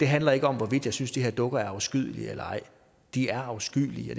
handler ikke om hvorvidt jeg synes de her dukker er afskyelige eller ej de er afskyelige